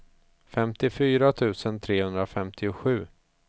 femtiofyra tusen trehundrafemtiosju